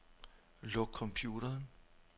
Luk computeren.